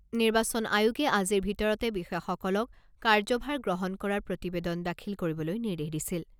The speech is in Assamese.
নিৰ্বাচন আয়োগে আজিৰ ভিতৰতে বিষয়াসকলক কাৰ্যভাৰ গ্ৰহণ কৰাৰ প্ৰতিবেদন দাখিল কৰিবলৈ নিৰ্দেশ দিছিল।